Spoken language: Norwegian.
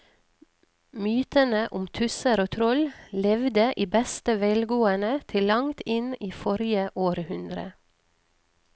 Mytene om tusser og troll levde i beste velgående til langt inn i forrige århundre.